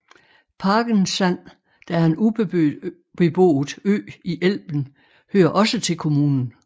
Pagensand der er en ubeboet ø i Elben hører også til kommunen